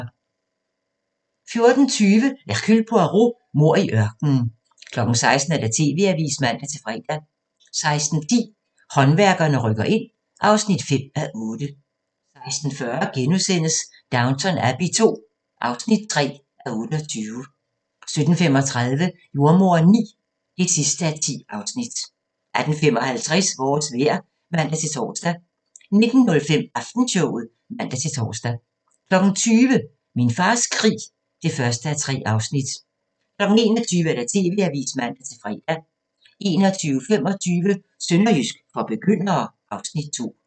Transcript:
14:20: Hercule Poirot: Mord i ørkenen 16:00: TV-avisen (man-fre) 16:10: Håndværkerne rykker ind (5:8) 16:40: Downton Abbey II (3:28)* 17:35: Jordemoderen IX (10:10) 18:55: Vores vejr (man-tor) 19:05: Aftenshowet (man-tor) 20:00: Min fars krig (1:3) 21:00: TV-avisen (man-fre) 21:25: Sønderjysk for begyndere (Afs. 2)